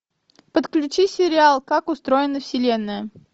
подключи сериал как устроена вселенная